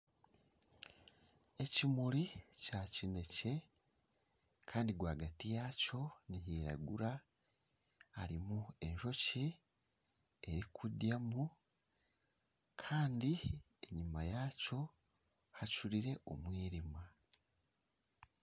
Ekimuri Kya kinekye Kandi rwaagati yaakyo nihiragura harimu enjoki erikuryamu Kandi enyuma yaakyo hacurire omw'irima